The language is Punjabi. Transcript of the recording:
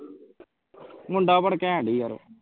ਮੁੰਡਾ ਪਰ ਕੈਂਟ ਹੀ ਯਾਰ